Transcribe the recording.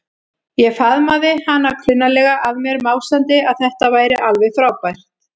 Ég faðmaði hana klunnalega að mér, másandi að þetta væri alveg frábært.